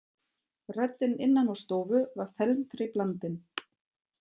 Röddin innan úr stofu var felmtri blandin.